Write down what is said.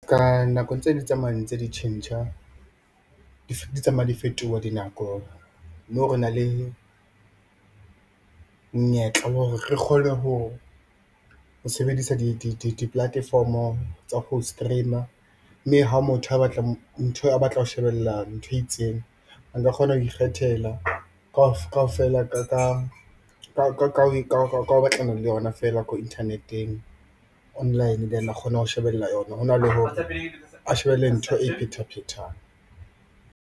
Ka nako ntse di tsamaya ntse di tjhentjha, di tsamaya di fetoha dinako mo re na le monyetla wa hore re kgone ho sebedisa di-platform-o tsa ho stream-a mme ha motho a batla ntho, a batla ho shebella ntho e itseng, a nka kgona ho ikgethela kaofela ka ho batlana le yona feela ko internet-eng online then a kgone ho shebella yona hona le hore a shebelle ntho e iphetha phethang.